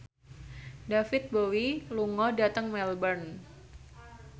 David Bowie lunga dhateng Melbourne